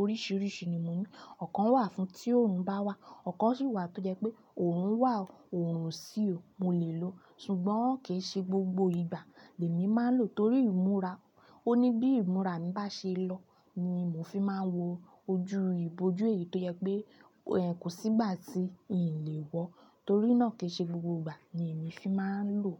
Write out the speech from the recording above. oríṣiríṣi ni mo ní. Ọ̀kan wà fún tí oòrùn bá wà, ọ̀kan sì wà tó jẹ́ pé òorun wà o, òòrùn o sì ó, mo lè lò ó. Ṣùgbọ́n kì í ṣe gbogbo ìgbà lèmi máa ń lò torí ìmúra. Onji bi ìmúra mi ba se lo, ni mo fi maa n wo ojú iboju èyí tó jẹ́ pé kò sí ìgbà tí ìn lè wọ́, torí náà kì í ṣe gbogbo ìgbà ni èmi fi máa ń lò.